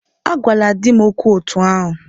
Agwala di m okwu otú ahụ!